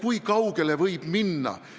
Kui kaugele võib minna?